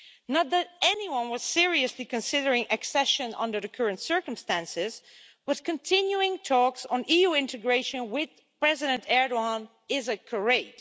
Not that anyone was seriously considering accession under the current circumstances, but continuing talks on EU integration with President Erdoğan is a charade.